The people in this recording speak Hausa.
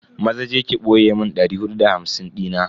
Maza je ki boye mun dari hudu da hamsin dina.